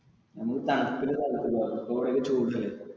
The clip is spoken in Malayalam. നമുക്ക് തണുപ്പ് ഉള്ള സ്ഥലത്തേക്ക് പോക ഇപ്പൊ ഇവിടെക്കെ ചൂട് അല്ലെ.